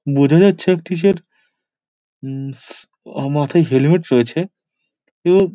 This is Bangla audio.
বোজা যাচ্ছে একটি যে মাথায় হেলমেট রয়েছে এবং--